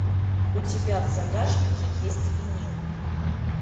у тебя в загашнике есть винил